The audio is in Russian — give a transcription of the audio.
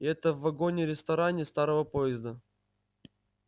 и это в вагоне-ресторане старого поезда